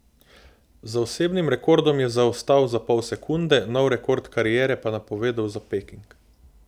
Za osebnim rekordom je zaostal za pol sekunde, nov rekord kariere pa napovedal za Peking.